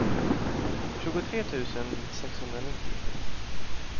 tjugotre tusen sexhundranittio